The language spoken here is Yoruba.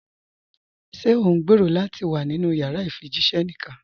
Ṣé o ǹgbẹ́rọ̀ lati wà nínu yàrà ifíjìṣẹ̀ níkan?